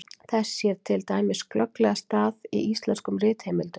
þess sér til dæmis glögglega stað í íslenskum ritheimildum